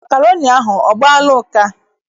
Makroni ahụ, ọ gbaala ụka?